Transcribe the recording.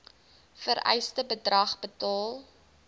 vereiste bedrag betaal